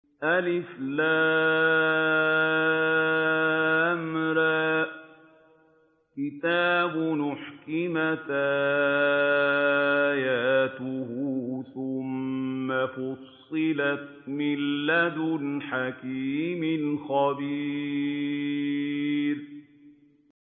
الر ۚ كِتَابٌ أُحْكِمَتْ آيَاتُهُ ثُمَّ فُصِّلَتْ مِن لَّدُنْ حَكِيمٍ خَبِيرٍ